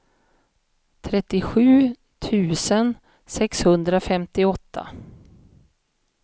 trettiosju tusen sexhundrafemtioåtta